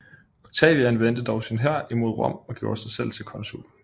Octavian vendte dog sin hær imod Rom og gjorde sig selv til consul